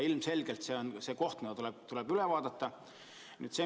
Ilmselgelt see on koht, mis tuleb üle vaadata.